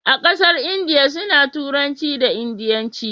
a ƙasar indiya su na turanci da indianci